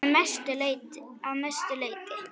Að mestu leyti